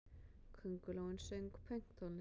Köngulóin söng pönktónlist!